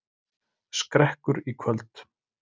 Skrekkur í kvöld